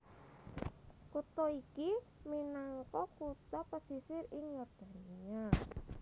Kutha iki minangka kutha pesisir ing Yordania